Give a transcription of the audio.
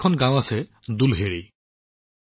হাৰিয়ানাত এখন গাওঁ আছে দুলহেদী